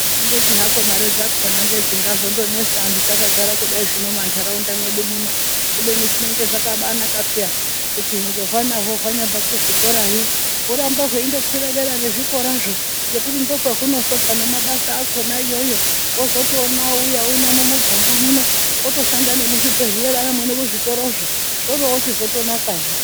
Kungoti hako mari dzakona ngedzingandozo netsa anhu takagara kudai zvino mandaraunda mwedu muno kubeni zvinenge zvakaba naka peya kuti ngehwana hwo hwanyabva kuzvikorayo hurambe hweindo kwira dera kwezvikorazvo ngekuti ndokwahunozobva nemabasa akona iyoyo wozotoona ouya uno mumuganga muno otoshanda ngemuzvibhedhleya nemuzvitoro zvoroochizotonaka zve